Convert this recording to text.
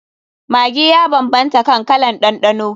Maggi ya banbanta kan kalan ɗanɗano.